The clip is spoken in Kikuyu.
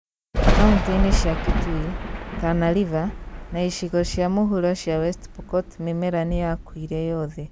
Kauntĩ-inĩ cia Kitui, Tana River, na icigo cia mũhuro cia West Pokot mĩmera nĩyakuire yothe